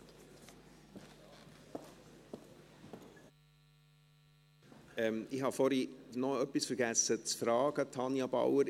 Tanja Bauer, ich habe vorhin noch etwas zu fragen vergessen: